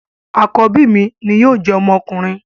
Àkọ́bí mi ni yóò jẹ́ ọmọkùnrin